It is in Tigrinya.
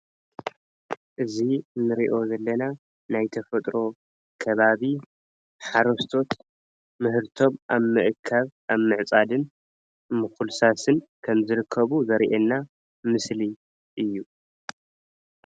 እዚ እንሪኣ ዘለና ናይ ተፈጥሮ ከባቢ ሓረስቶት ምህርቶም አብ ምእካብ አብ ምዕፃድን ምኩልሳስን ከም ዝርከቡ ዘሪኢና ምስሊ እዩ፡፡